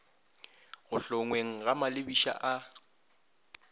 go hlongweng ga malebiša a